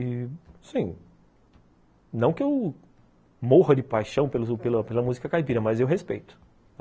E, sim, não que eu morra de paixão pela pela música caipira, mas eu respeito.